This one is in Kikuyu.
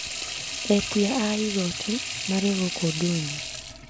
Etia a igoti marĩ gũkũ ndũnyũ